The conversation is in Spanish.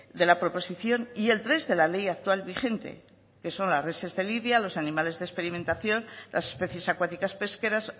de la proposición y el tres de la ley actual vigente que son las reses de lidia los animales de experimentación las especies acuáticas pesqueras